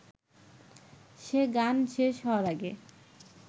সে গান শেষ হওয়ার আগে